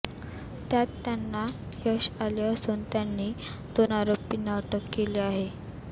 त्यात त्यांना यश आले असून त्यांनी दोन आरोपींना अटक केली आहे